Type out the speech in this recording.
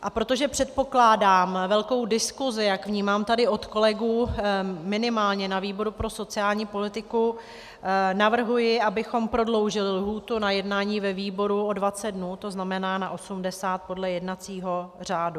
A protože předpokládám velkou diskusi, jak vnímám tady od kolegů, minimálně na výboru pro sociální politiku, navrhuji, abychom prodloužili lhůtu na jednání ve výboru o 20 dnů, to znamená na 80 podle jednacího řádu.